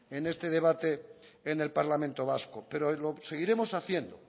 en este debate en el parlamento vasco pero lo seguiremos haciendo